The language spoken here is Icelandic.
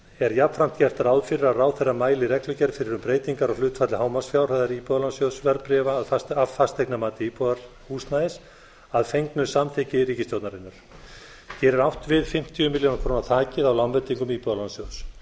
er jafnframt gert ráð fyrir að ráðherra mæli í reglugerð fyrir um breytingar á hlutfalli hámarksfjárhæðar íbúðalánasjóðs verðbréfa af fasteignamati íbúðarhúsnæðis að fengnu samþykki ríkisstjórnarinnar hér er átt við fimmtíu milljónir króna þakið á lánveitingum íbúðalánasjóðs